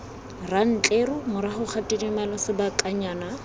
rantleru morago ga tidimalo sebakanyana